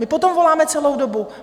My po tom voláme celou dobu!